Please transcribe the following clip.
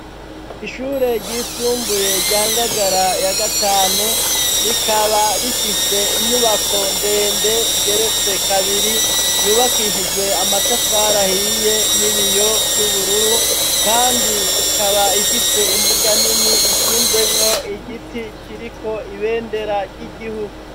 Ishure ryisumbuye rya Ngagara ya gatanu, rikaba rifise inyubako ndende igeretse kabiri yubakishijwe amatafari ahiye, n'ibiyo vy'ubururu, kandi ikaba ifise imbuga nini ishinzemwo igiti kiriko ibendera ry'igihugu.